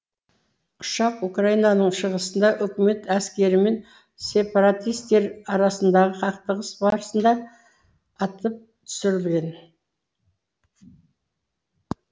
ұшақ украинаның шығысында үкімет әскері мен сепаратистер арасындағы қақтығыс барысында атып түсірілген